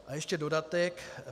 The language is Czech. A ještě dodatek.